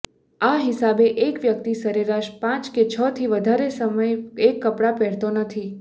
આ હિસાબે એક વ્યકિત સરેરાશ પાંચ કે છથી વધારે સમય એક કપડા પહેરતો નથી